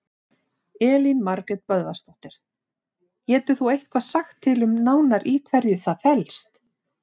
Elín Margrét Böðvarsdóttir: Getur þú eitthvað sagt til um nánar í hverju það felst?